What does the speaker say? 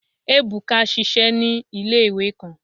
Ebuka ṣiṣẹ ni ile-iwe kan